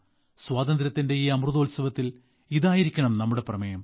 സ്വാതന്ത്ര്യത്തിന്റെ ഈ അമൃതോത്സവത്തിൽ ഇതായിരിക്കണം നമ്മുടെ പ്രതിജ്ഞ